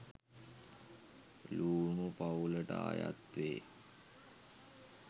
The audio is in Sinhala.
ලූනු පවුලට අයත්වේ.